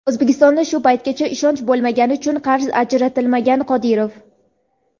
O‘zbekistonga shu paytgacha ishonch bo‘lmagani uchun qarz ajratilmagan – Qodirov.